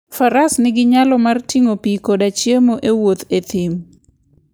Faras nigi nyalo mar ting'o pi koda chiemo e wuoth e thim.